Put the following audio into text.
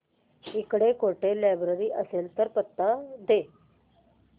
इकडे कुठे लायब्रेरी असेल तर पत्ता दे